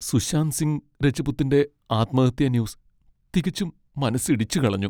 സുശാന്ത് സിംഗ് രജ്പുത്തിന്റെ ആത്മഹത്യാ ന്യൂസ് തികച്ചും മനസ്സിടിച്ചുകളഞ്ഞു.